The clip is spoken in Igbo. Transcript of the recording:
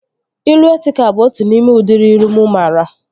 Ilu etịkal bụ otu n'ime udịri ilu mụ maara